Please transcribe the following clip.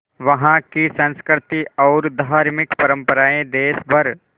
वहाँ की संस्कृति और धार्मिक परम्पराएं देश भर